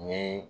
Nin